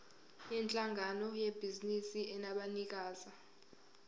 yinhlangano yebhizinisi enabanikazi